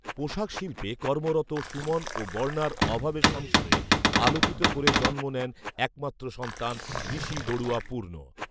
পোশাক শিল্পে কর্মরত সুমন ও বর্ণার অভাবে সংসারে আলোকিত করে জন্ম নেন এক মাত্র সন্তান ঋসি বড়ুয়া পূর্ণ